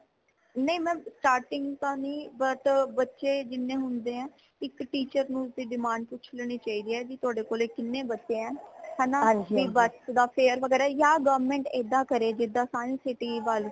ਨਹੀਂ mam starting ਤਾ ਨੀ but ਬੱਚੇ ਜਿੰਨੇ ਹੁੰਦੇ ਹੈ ਇਕ teacher ਨੂ demand ਪੁੱਛ ਲੈਣੀ ਚਾਹੀਦੀ ਹੈ ਭੀ ਤੁਆਡੇ ਕੋਲੇ ਕੀਨੇ ਬੱਚੇ ਹੈ ਹੈ ਨਾ ਭੀ ਬਸ ਦਾ fair ਵਗੈਰਾ ਯਾ government ਏਦਾਂ ਕਰੇ ਜਿਦਾ ਸਾਰੀ city ਵਲ